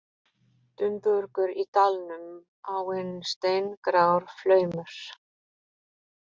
Dumbungur í dalnum, áin steingrár flaumur.